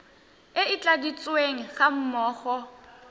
e e tladitsweng ga mmogo